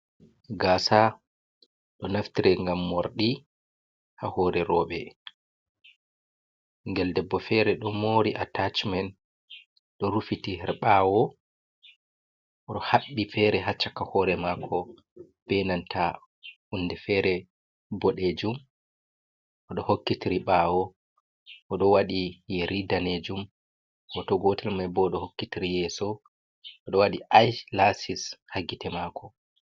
Gasa ɗo naftiri ngam morɗi ha hore roɓe. Ɓingel debbo fere ɗo mori attachment ɗo rufiti her ɓawo, o'haɓɓi fere ha caka hore mako be nanta hunde fere boɗejum. Oɗo hokkitiri ɓawo, oɗo waɗi yeri danejum. Hoto gotel mai bo hokkitiri yeso oɗo waɗi I-lasis ha gite mako.